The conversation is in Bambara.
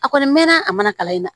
A kɔni mɛnna a mana kalan in na